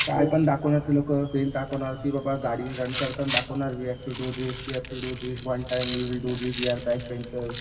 कायपण दाखवण्यात तुला लोकं तेच दाखवणार तुला की बाबा गाडी डिजाईन काढताना दाखवणार we have to do this one time we will do this we R